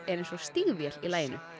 er eins og stígvél í laginu